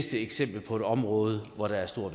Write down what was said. eksempel på et område hvor der er stor